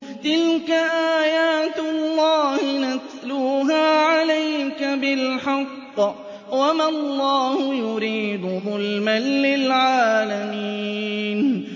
تِلْكَ آيَاتُ اللَّهِ نَتْلُوهَا عَلَيْكَ بِالْحَقِّ ۗ وَمَا اللَّهُ يُرِيدُ ظُلْمًا لِّلْعَالَمِينَ